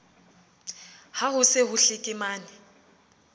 ha ho se ho hlekemane